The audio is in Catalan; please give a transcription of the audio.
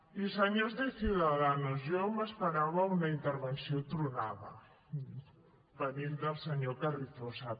i senyors de ciudadanos jo m’esperava una intervenció tronada venint del senyor carrizosa